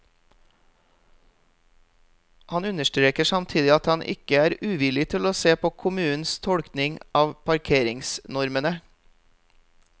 Han understreker samtidig at han ikke er uvillig til å se på kommunens tolkning av parkeringsnormene.